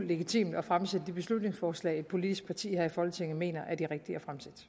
legitimt at fremsætte de beslutningsforslag politisk parti her i folketinget mener er de rigtige